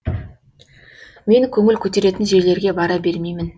мен көңіл көтеретін жерлерге бара бермеймін